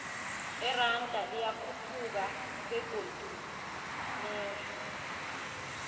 iranda liyakhuphuka begodu lehle